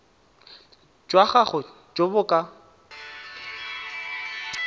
jwa gago jo bo ka